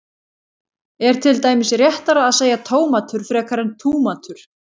er til dæmis réttara að segja tómatur frekar en túmatur